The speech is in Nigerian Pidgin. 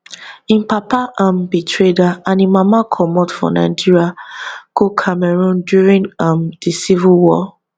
im papa um be trader and im mama comot for nigeria go cameroon during um di civil war